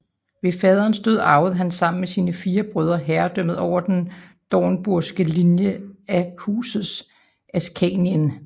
Ved faderens død arvede han sammen med sine fire brødre herredømmet over den dornburgske linje af Huset Askanien